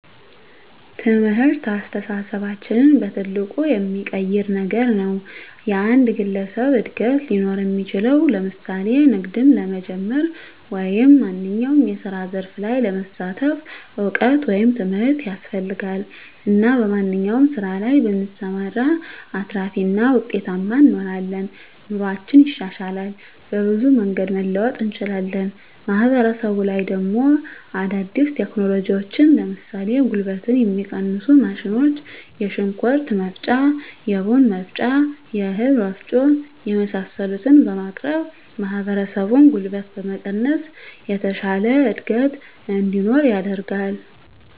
ትምህርት አስተሳሰባችንን በትልቁ የሚቀይር ነገር ነዉ። የአንድ ግለሰብ እድገት ሊኖር እሚችለዉ ለምሳሌ ንግድም ለመጀመር ወይም ማንኛዉም የስራ ዘርፍ ላይ ለመሳተፍ እዉቀት ወይም ትምህርት ያስፈልጋል እና በማንኛዉም ስራ ላይ ብንሰማራ አትራፊ እና ዉጤታማ እንሆናለን። ኑሮአችን ይሻሻላል፣ በብዙ መንገድ መለወጥ እንችላለን። ማህበረሰቡ ላይ ደሞ አዳዲስ ቴክኖሎጂዎችን ለምሳሌ ጉልበትን የሚቀንሱ ማሽኖች የሽንኩርት መፍጫ፣ የቡና መፍጫ፣ የእህል ወፍጮ የመሳሰሉትን በማቅረብ ማህበረሰቡን ጉልበት በመቀነስ የተሻለ እድገት እንዲኖር ያደርጋል።